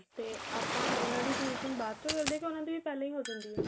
ਤਾ ਆਪਾਂ ਉਹਨਾ ਦੀ finishing ਬਾਚੋ ਕਰਦੇ ਆ ਕੇ ਉਹਨਾ ਦੀ ਵੀ ਪਹਿਲਾਂ ਹੀ ਹੋ ਜਾਂਦੀ ਏ